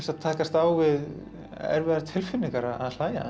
takast á við erfiðar tilfinningar að hlæja